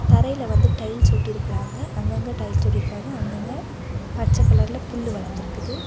தரையில வந்து டைல்ஸ் ஒட்டி இருக்குறாங்க அங்கங்க டைல்ஸ் ஒட்டிருக்காங்க அங்கங்க பச்ச கலர்ல புல்லு வளர்ந்திருக்குது.